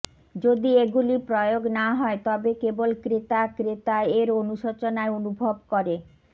যদি এগুলি প্রয়োগ না হয় তবে কেবল ক্রেতা ক্রেতা এর অনুশোচনায় অনুভব করে